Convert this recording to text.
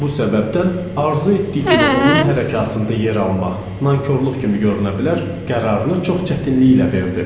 Bu səbəbdən arzu etdiyi kimi onun hərəkətində yer almaq nankorluq kimi görünə bilər, qərarını çox çətinliklə verdim.